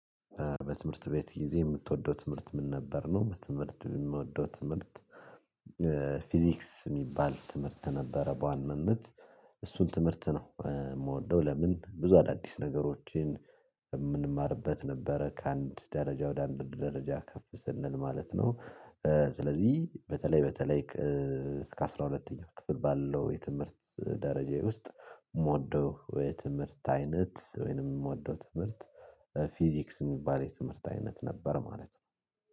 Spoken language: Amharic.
በትምህርት ቤት ጊዜ የምትወደው ትምህርት ምን ነበር ነው? በትምህርት የምወደው ትምህርት ፊዚክስ የሚባል ትምህርት ነበረ በዋናነት እሱን ትምህርት ነው የምወደው። ለምን ብዙ አዳዲስ ነገሮችን እምንማርበት ነበረ ከአንድ ደረጃ ወደ አንድ ደረጃ ከፍ ስንል ማለት ነው። ስለዚህ በተለይ በተለይ እስከ አስራ ሁለተኛው ክፍል ባለው የትምህርት ደረጃ ውስጥ የምወደው የትምህርት አይነት ወይንም የምወደው ትምህርት ፊዚክስ የሚባል የትምህርት አይነት ነበር ማለት ነው